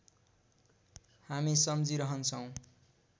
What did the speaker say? हामी सम्झिरहन्छौँ